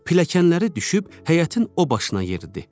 Pilləkənləri düşüb həyətin o başına yeridi.